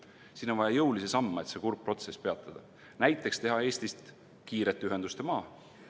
Siin on vaja jõulisi samme, et see kurb protsess peatada, näiteks teha Eestist kiirete ühenduste maa.